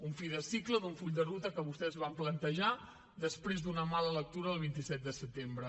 un fi de cicle d’un full de ruta que vostès van plantejar després d’una mala lectura del vint set de setembre